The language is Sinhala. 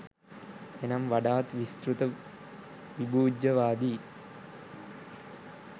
එනම් වඩාත් විස්තෘත විභූජ්ජවාදී